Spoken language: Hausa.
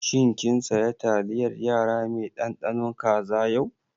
Shin kin saya taliyar yara mai ɗanɗano kaza yau?